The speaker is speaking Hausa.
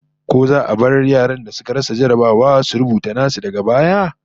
Ko za a bar yaran da suka rasa jarrabawa su rubuta nasu daga baya?